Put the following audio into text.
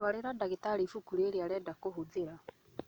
Twarĩra dagĩtarĩ ibuku rĩrĩ arenda kũhũthĩra